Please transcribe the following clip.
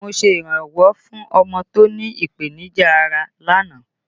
Mo ṣe iranwọ fún ọmọ tó ní ìpènìjà ará lánàá